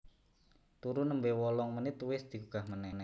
Turu nembe wolong menit wes digugah meneh